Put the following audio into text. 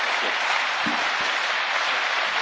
Merci beaucoup, Monsieur le Président.